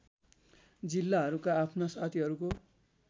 जिल्लाहरूका आफ्ना साथीहरूको